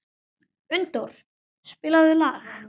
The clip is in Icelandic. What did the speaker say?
Unndór, spilaðu lag.